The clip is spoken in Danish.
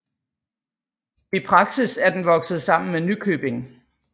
I praksis er den vokset sammen med Nykøbing